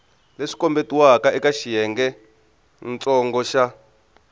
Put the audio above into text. leswi kombetiweke eka xiyengentsongo xa